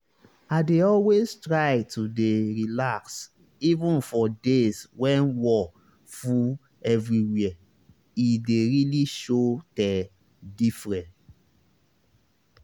i dey always try to dey relax even for days when wor full everywhere e dey really show teh diffre